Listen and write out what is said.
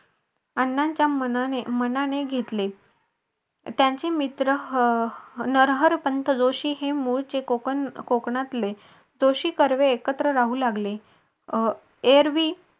अण्णांच्या मनाने घेतले त्यांचे मित्र नरहरपंत जोशी हे मुळचे कोकण कोकणातले जोशी कर्वे एकत्र राहू लागले एरवी